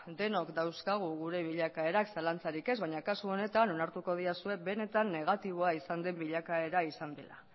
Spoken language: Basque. denok dauzkagu gure bilakaerak zalantzari ez baina kasu honetan onartuko didazue benetan negatiboa izan den bilakaera izan dela